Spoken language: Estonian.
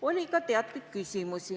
Oli ka küsimusi.